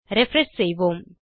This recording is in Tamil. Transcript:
ரிஃப்ரெஷ் செய்வோம்